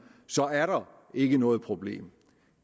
så er der ikke noget problem